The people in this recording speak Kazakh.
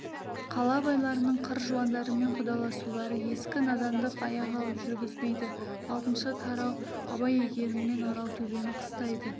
қала байларының қыр жуандарымен құдаласулары ескі надандық аяқ алып жүргізбейді алтыншы тарау абай әйгеріммен аралтөбені қыстайды